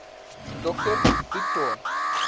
dr du toit